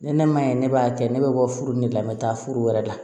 Ni ne ma ye ne b'a kɛ ne bɛ bɔ furu in de la n bɛ taa furu wɛrɛ la